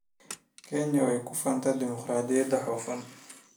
Kenya way ku faantaa dimuqraadiyadda hufan.